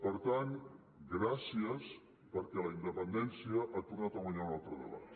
per tant gràcies perquè la independència ha tornat a guanyar un altre debat